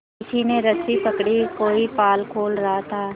किसी ने रस्सी पकड़ी कोई पाल खोल रहा था